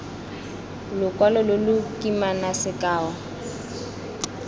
lokwalo lo lo kimana sekao